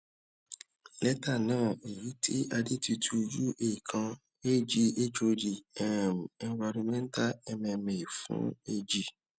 létà náà èyí tí adetutu ua kan ag hod um environmental mma fún ag